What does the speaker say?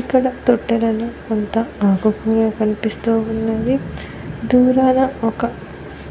ఇక్కడ తొట్టెలలో కొంత ఆకు కూర కనిపిస్తూ ఉన్నది దూరాన ఒక